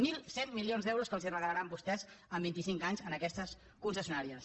mil cent milions d’euros que els regalaran vostès en vinti cinc anys a aquestes concessionàries